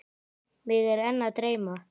Mig er enn að dreyma.